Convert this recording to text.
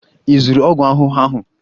Ị zụrụ ọgwụ ahụhụ ahụ?